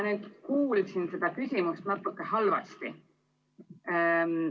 Ma kuulsin seda küsimust natuke halvasti.